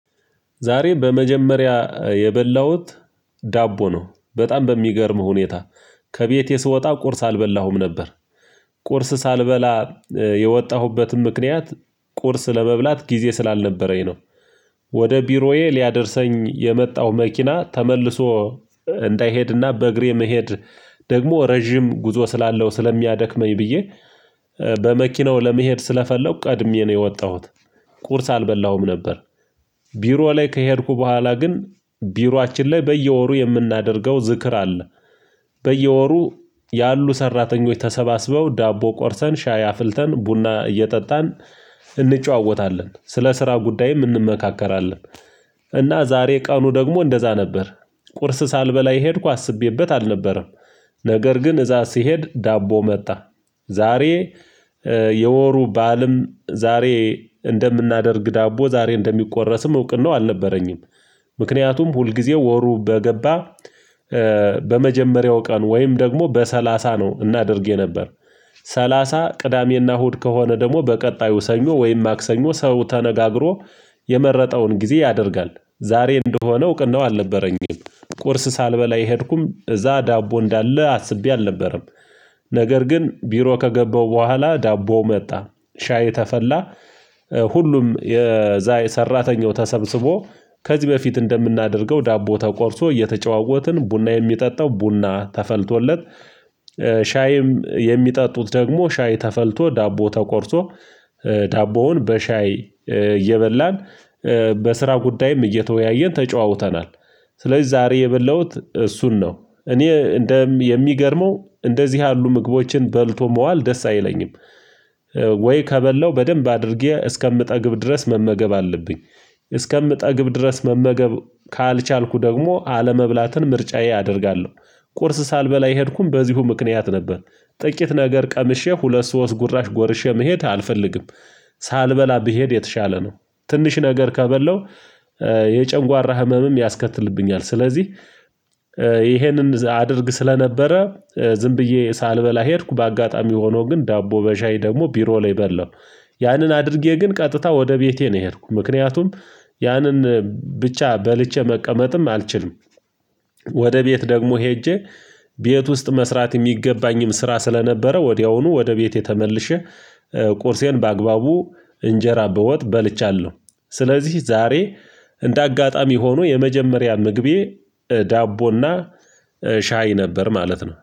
ዛሬ በመጀመሪያ የበላሁት ዳቦ ነው። በጣም በሚገርም ሁኔታ ከቤቴ ስወጣ ቁርስ አልበላሁም ነበር። ቁርስ ሳልበላ የወጣሁበትም ምክንያት ቁርስ ለመብላት ጊዜ ስላልነበረኝ ነው። ዛሬ በመጀመሪያ የበላሁት ዳቦ ነው። በጣም በሚገርም ሁኔታ ከቤቴ ስወጣ ቁርስ አልበላሁም ነበር። ቁርስ ሳልበላ የወጣሁበትም ምክንያት ቁርስ ለመብላት ጊዜ ስላልነበረኝ ነው። ቁርስ አልበላሁም ነበር። ቢሮ ላይ ከሄድኩ በኋላ ግን ቢሯችን ላይ በየወሩ የምናደርገው ዝክር አለ። በየወሩ ያሉ ሰራተኞች ተሰባስበው ዳቦ ቆርሰን፣ ሻይ አፍልተን፣ ቡና እየጠጣን እንጨዋወታለን። ስለ ስራ ጉዳይም እንመካከራለን። እና ዛሬ ቀኑ ደግሞ እንደዛ ነበር። ቁርስ ሳልበላ የሄድኩ አስቤበት አልነበረም። ነገር ግን እዛ ሲሄድ ዳቦ መጣ። ዛሬ የወሩ ባልም ዛሬ እንደምናደርግ ዳቦ ዛሬ እንደሚቆረስም እውቅነው አልነበረኝም። ምክንያቱም ሁልጊዜው ወሩ በገባ በመጀመሪያው ቀን ወይም ደግሞ በሰላሳ ነው እናድርጌ የነበር። እና ዛሬ ቀኑ ደግሞ እንደዛ ነበር። ቁርስ ሳልበላ የሄድኩ አስቤበት አልነበረም። ነገር ግን እዛ ሲሄድ ዳቦ መጣ። ሁሉም የዛ ሰራተኛው ተሰብስቦ ከዚህ በፊት እንደምናደርገው ዳቦ ተቆርሶ፣ እየተጨዋወትን፣ ቡና የሚጠጣው ቡና ተፈልቶለት ሻይም የሚጠጡት ደግሞ ሻይ ተፈልቶ፣ ዳቦ ተቆርሶ ዳቦውን በሻይ እየበላን በስራ ጉዳይም እየተወያየን ተጨዋውተናል። ስለዚህ ዛሬ የበላሁት እሱን ነው። እኔ እንደ የሚገርመው እንደዚህ ያሉ ምግቦችን በልቶ መዋል ደስ አይለኝም። ወይ ከበለው በደንብ አድርጌ እስከምጠግብ ድረስ መመገብ አለብኝ። እስከምጠግብ ድረስ መመገብ ካልቻልኩ ደግሞ አለመብላትን ምርጫዬ አደርጋለሁ። ቁርስ ሳልበላ የሄድኩም በዚሁ ምክንያት ነበር። ጥቂት ነገር ቀምሼ ሁለት ሶስት ጉራሽ ጎርሼ መሄድ አልፈልግም። ሳልበላ ብሄድ የተሻለ ነው። ትንሽ ነገር ከበለው የጨንጓራ ህመምም ያስከትልብኛል። ስለዚህ ይሄንን አድርግ ስለነበረ ዝም ብዬ ሳልበላ ሄድኩ በአጋጣሚ ሆኖ ግን ዳቦ በሻይ ደግሞ ቢሮ ላይ በላው። ያንን አድርጌ ግን ቀጥታ ወደ ቤቴ ነው የሄድኩ። ምክንያቱም ያንን ብቻ በልቼ መቀመጥም አልችልም። ወደ ቤት ደግሞ ሄጄ ቤት ውስጥ መስራት የሚገባኝም ስራ ስለነበረ ወዲያውኑ ወደ ቤቴ ተመልሼ ቁርሴን በአግባቡ እንጀራ በወጥ በልቻለሁ። ስለዚህ ዛሬ እንደ አጋጣሚ ሆኖ የመጀመሪያ ምግቤ ዳቦ እና ሻይ ነበር ማለት ነው።